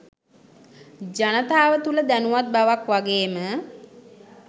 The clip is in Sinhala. ජනතාව තුළ දැනුවත් බවක් වගේ ම